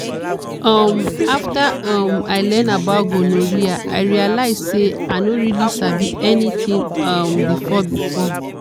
um after um i learn about gonorrhea i realize say i no really sabi anything um before. before.